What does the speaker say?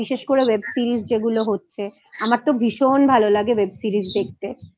বিশেষ করে Web Series যেগুলো হচ্ছে আমার তো ভীষণ ভালো লাগে Web Series দেখতে